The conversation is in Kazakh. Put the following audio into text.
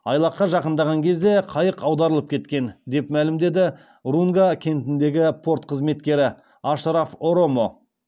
айлаққа жақындаған кезде қайық аударылып кеткен деп мәлімдеді рунга кентіндегі порт қызметкері ашраф оромо